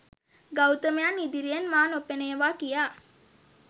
ගෞතමයන් ඉදිරියෙන් මා නොපෙනේවා කියා.